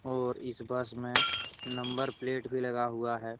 और इस बस में नंबर प्लेट भी लगा हुआ है।